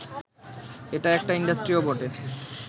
এটা একটা ইন্ডাস্ট্রিও বটে